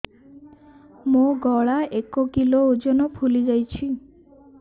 ମୋ ଗଳା ଏକ କିଲୋ ଓଜନ ଫୁଲି ଯାଉଛି